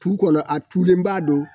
Tu kɔnɔ a tulen b'a don